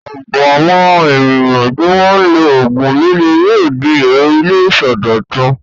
Ọ̀pọ̀ àwọn ènìyàn tí wọ́n ń lo òògùn líle yóò di èrò ilé ìsọdọ̀tun.